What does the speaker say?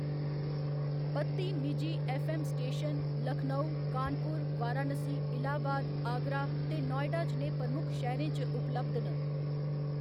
बत्ती निजी FM. Station Lucknow, Kanpur, Varanasi, Allahabad, Agra ते नोएडा जनेह् प्रमुख शैह्‌‌‌रें च उपलब्ध न।